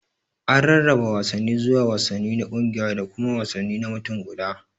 An rarraba wasanni zuwa wasanni na kungiya da kuma wasanni na mutum guda.